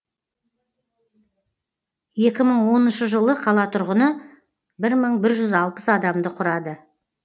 екі мың оныншы жылы қала тұрғыны бір мың бір жүз алпыс адамды құрады